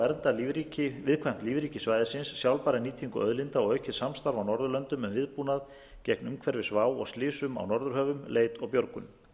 á að vernda viðkvæmt lífríki svæðisins sjálfbæra nýtingu auðlinda og aukið samstarf á norðurlöndum um viðbúnað gegn umhverfisvá og slysum á norðurhöfum leit og björgun